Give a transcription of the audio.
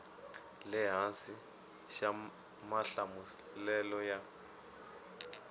le hansi xa mahlamulelo ya